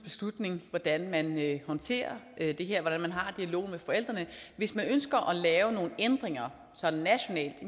beslutning hvordan man håndterer det her og hvordan man har dialogen med forældrene hvis man ønsker at lave nogle ændringer sådan nationalt